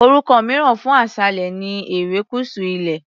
Orúkọ mìíràn fún aṣálẹ̀ ilẹ̀ ni erékùṣù ilẹ̀.